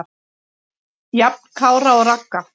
Jafn Kára og Ragga.